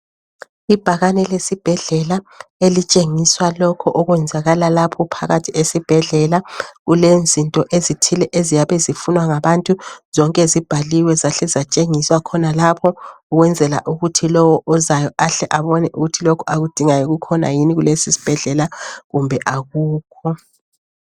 Ibhakane lesibhedlela elitshengiswa lokho okwenzakala lapho phakathi esibhedlela. Kulezinto ezithile eziyabe zifunwa ngabantu zonke zibhaliwe zahle zatshengiswa khonalapho ukwenzela ukuthi lowo ozayo ahle abone ukuthi lokho akudingayo kukhona yini kulesisibhedlela kumbe akukho.